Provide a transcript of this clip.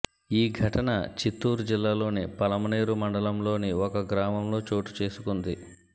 ఈ ఘటన చిత్తూర్ జిల్లా లోని పలమనేరు మండలంలోని ఒక గ్రామంలో చోటుచేసుకుంది